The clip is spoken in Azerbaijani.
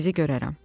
Sizi görərəm.